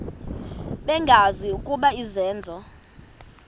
bengazi ukuba izenzo